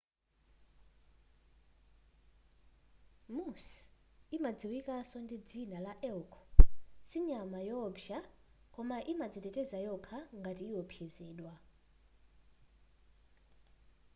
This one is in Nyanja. moose amadziwikanso ndi dzina la elk sinyama yoopsya koma imadziteteza yokha ngati iopsezedwa